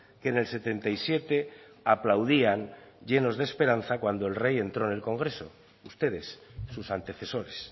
que en el setenta y siete aplaudían llenos de esperanza cuando el rey entró en el congreso ustedes sus antecesores